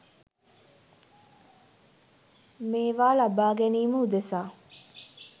මේවා ලබා ගැනීම උදෙසා